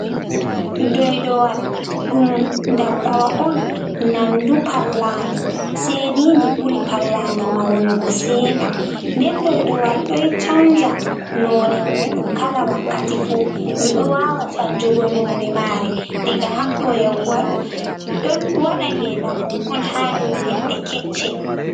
Doydowal, ɗum ndabbawa on nandu pallandi. sei ndi buri pallandi maunugo seɗa. Nden Doydowal a ɗo canja none muɗum kala wakkati fu. Ndu ɗo wawa canjugo none mare diga haɗɗo yahugo haɗo. Ɗon waɗa nge ndam mum on ha dau ledde keccel.